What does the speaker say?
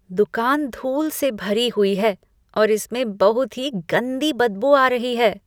दुकान धूल सी भरी हुई है और इसमें बहुत ही गंदी बदबू आ रही है।